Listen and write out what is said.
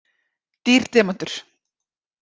Dýr demantur